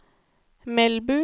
Melbu